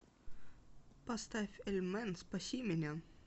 поставь эльмэн спаси меня